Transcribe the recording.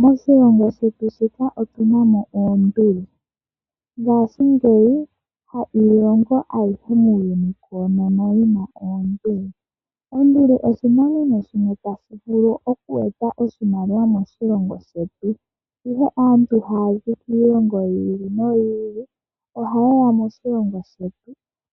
Moshilongo shetu Namibia otuna mo oonduli. Ngashingeyi kashishi iilongo ayihe muuyuni koonono yina oonduli. Onduli oshinamwenyo shimwe tashi vulu okweeta oshimaliwa moshilongo shetu, ihe aantu mboka haya zi kiilongo yi ili noyi ili, oha yeya moshilongo shetu,